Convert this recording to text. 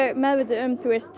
meðvituð um